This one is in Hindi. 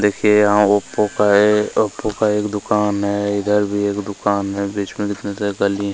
देखिए यहाँ ओप्पो का ए ओप्पो का एक दुकान है इधर भी एक दुकान में बीच में निकलने के गली--